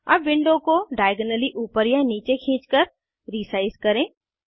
अब विंडो को डाइऐगनली ऊपर या नीचे खींचकर रीसाइज करें